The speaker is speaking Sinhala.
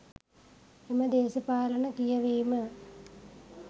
එම දේශපාලන කියවීම